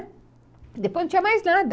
Depois não tinha mais nada.